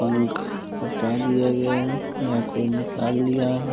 पंख हटा दिया गया है या कोई निकाल लिया है।